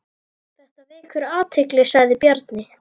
Þetta vekur athygli sagði Bjarni.